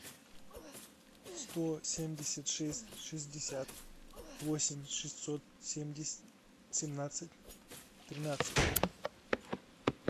сто семьдесят шесть шестьдесят восемь шестьсот семьдесят семнадцать тринадцать